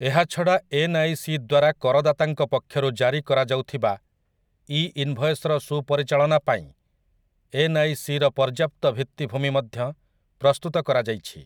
ଏହାଛଡ଼ା ଏନ୍ଆଇସି ଦ୍ୱାରା କରଦାତାଙ୍କ ପକ୍ଷରୁ ଜାରି କରାଯାଉଥିବା ଇ ଇନ୍‌ଭଏସ୍‌ର ସୁପରିଚାଳନା ପାଇଁ ଏନ୍ଆଇସିର ପର୍ଯ୍ୟାପ୍ତ ଭିତ୍ତିଭୂମି ମଧ୍ୟ ପ୍ରସ୍ତୁତ କରାଯାଇଛି ।